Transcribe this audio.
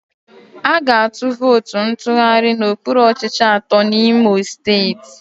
A ga-atụ vootu ntụgharị n'okpuru ọchịchị atọ n'Imo Steeti.